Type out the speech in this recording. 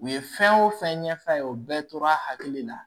U ye fɛn o fɛn ɲɛf'a ye o bɛɛ tora hakili la